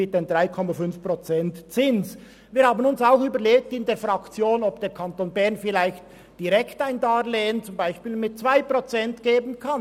Wir haben uns in der Fraktion auch überlegt, ob der Kanton Bern vielleicht direkt ein Darlehen mit zum Beispiel 2 Prozent Zins geben könnte.